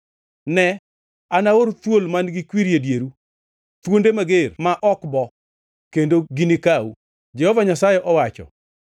“Ne, anaor thuol man-gi kwiri e dieru, thuonde mager ma ok bo, kendo gini kau.” Jehova Nyasaye owacho.